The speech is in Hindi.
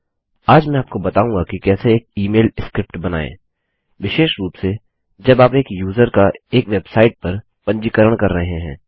आज मैं आपको बताऊँगा कि कैसे एक इमेल स्क्रिप्ट बनाएँ विशेष रूप से जब आप एक यूज़र का एक वेबसाइट पर पंजीकरण कर रहे हैं